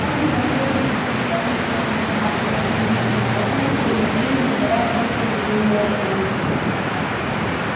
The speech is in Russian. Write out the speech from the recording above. он взволнованно ходил из стороны в сторону помахивая длинным чёрным хвостом и время от времени издавая короткое удивлённое ржание